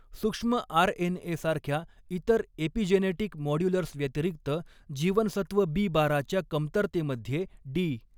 सूक्ष्म आरएनएसारख्या इतर एपिजेनेटिक मॉड्यूलर्स व्यतिरिक्त, जीवनसत्व बी बाराच्या कमतरतेमध्ये डी.